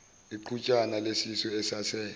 iqhutshana lesisu esase